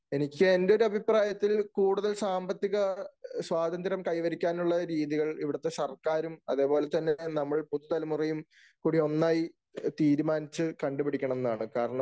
എനിക്ക് എൻ്റെ ഒരു അഭിപ്രായത്തിൽ കൂടുതൽ സാമ്പത്തിക സ്വാതന്ത്ര്യം കൈവരിക്കാനുള്ള രീതികൾ ഇവിടത്തെ സർക്കാരും, അതുപോലെ തന്നെ നമ്മൾ പുതുതലമുറയും കൂടി ഒന്നായി തീരുമാനിച്ചു കണ്ടുപിടിക്കണം എന്നാണ്. കാരണം,